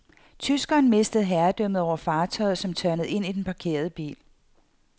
Tyskeren mistede herredømmet over fartøjet, som tørnede ind i den parkerede bil.